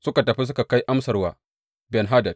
Suka tafi suka kai amsar wa Ben Hadad.